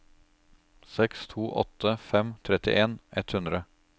seks to åtte fem trettien ett hundre